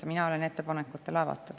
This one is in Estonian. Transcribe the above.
Mina olen ettepanekutele avatud.